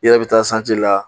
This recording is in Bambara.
I yɛrɛ bɛ taa sance la